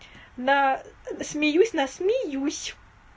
на смеюсь на смеюсь